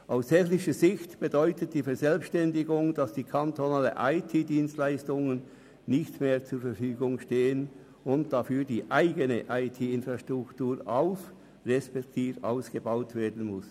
Aus technischer Sicht bedeutet die Verselbstständigung, dass die kantonalen IT-Dienstleistungen nicht mehr zur Verfügung stehen und dafür die eigene IT-Infrastruktur auf- respektive ausgebaut werden muss.